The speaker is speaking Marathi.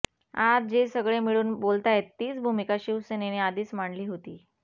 आज जे सगळे मिळून बोलताहेत तीच भूमिका शिवसेनेने आधीच मांडली होती